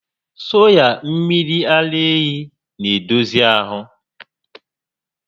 Soya mmiri ara ehi n'edozi ahụ